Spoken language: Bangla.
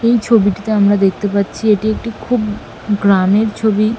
এই ছবিটাতে আমরা দেখতে পাচ্ছি এটি একটি খুব গ্রামের ছবি ।